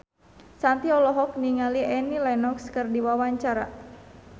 Shanti olohok ningali Annie Lenox keur diwawancara